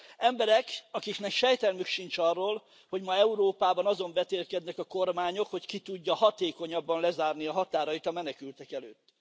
Emberek, akiknek sejtelmük sincs arról, hogy ma Európában azon vetélkednek a kormányok, hogy ki tudja hatékonyabban lezárni a határait a menekültek előtt.